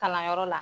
Kalanyɔrɔ la